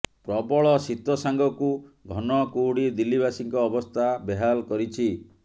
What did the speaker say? ପ୍ରବଳ ଶୀତ ସାଙ୍ଗକୁ ଘନ କୁହୁଡ଼ି ଦିଲ୍ଲୀବାସୀଙ୍କ ଅବସ୍ଥା ବେହାଲ କରିଛି